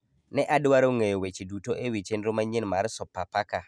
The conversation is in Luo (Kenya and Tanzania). Ne adwaro ng'eyo weche duto e wi chenro manyien mar Sopapaka